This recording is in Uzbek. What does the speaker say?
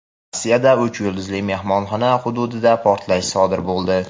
Rossiyada "uch yulduzli" mehmonxona hududida portlash sodir bo‘ldi.